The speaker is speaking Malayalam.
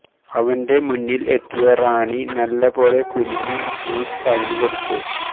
അവന്റെ മുന്നിൽ എത്തിയ റാണി നല്ല പോലെ കുനിഞ്ഞു ജ്യൂസ് അവനു കൊടുത്തു